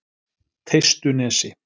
Teistunesi